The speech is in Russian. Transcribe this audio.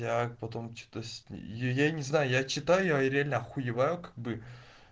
я потом что-то я не знаю я читаю и реально охуеваю как бы